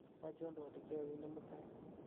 achon twolik chegoginde mutai